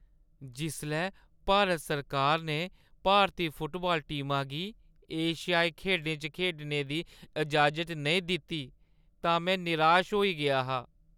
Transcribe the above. जिसलै भारत सरकार ने भारती फुटबाल टीमा गी एशियाई खेढें च खेढने दी इजाज़त नेईं दित्ती तां में निराश होई गेआ हा।